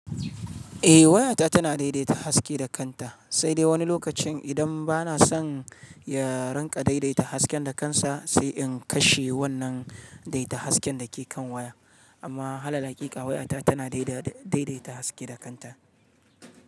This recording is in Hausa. Eh wayata tana daidaita haske da kanta, sai dai wani lokacin idan bana son ya rinƙa daidaita haske da kansa, sai in kashe wannan daidaita hasken da ke kan waya. Amma halal haƙiƙa wayata tana daidaita haske da kanta.